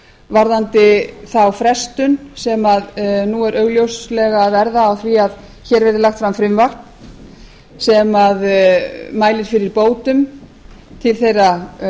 varðandi þá frestun sem nú er augljóslega að verða á því að hér verði lagt fram frumvarp sem mælir fyrir bótum til þeirra